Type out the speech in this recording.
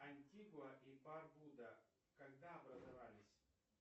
антигуа и барбуда когда образовались